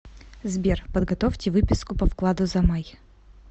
сбер подготовьте выписку по вкладу за май